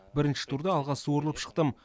бірінші турда алға суырылып шықтым